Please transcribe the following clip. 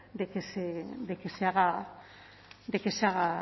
de que se haga